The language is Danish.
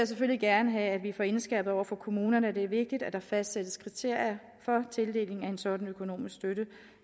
selvfølgelig gerne have at vi får indskærpet over for kommunerne at det er vigtigt at der fastsættes kriterier for tildeling af en sådan økonomisk støtte